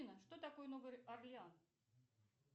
афина что такое новый орлеан